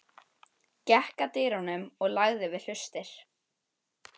Gekk að dyrunum og lagði við hlustir.